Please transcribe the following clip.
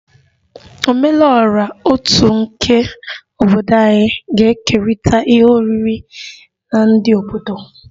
Ome lu ora otu nke obodo anyị ga-ekerịta ihe oriri na ndị obodo